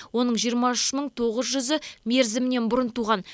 оның жиырма үш мың тоғыз жүзі мерзімінен бұрын туған